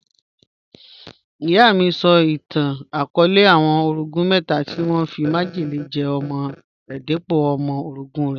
Iyà mí sọ̀ itàn ìtàn-akọọlẹ̀ àwọn orọ̀gún mẹta tí wọn fí májẹlẹ̀ jẹ̀ ọmọ̀ rẹ̀ dípọ̀ ọmọ̀ orọ̀gún rẹ̀.